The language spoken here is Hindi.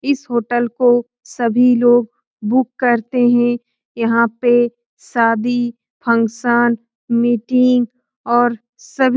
इस होटल को सभी लोग बुक करते हैं यहाँ पे शादी फंक्शन मीटिंग और सभी --